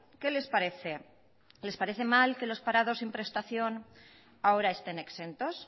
qué les parece les parece mal que los parados sin prestación ahora estén exentos